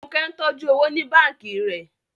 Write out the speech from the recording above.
Fúnkẹ́ ń tọ́jú owó ní báǹkì rẹ̀